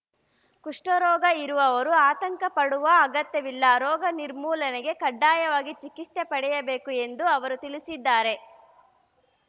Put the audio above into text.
ಕುಷ್ಠರೋಗ ಇರುವವರು ಆತಂಕ ಪಡುವ ಅಗತ್ಯವಿಲ್ಲ ರೋಗ ನಿರ್ಮೂಲನೆಗೆ ಕಡ್ಡಾಯವಾಗಿ ಚಿಕಿತ್ಸೆ ಪಡೆಯಬೇಕು ಎಂದು ಅವರು ತಿಳಿಸಿದ್ದಾರೆ